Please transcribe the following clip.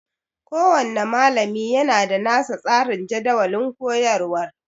Kowanne malami yana da nasa tsarin jadawalin koyarwar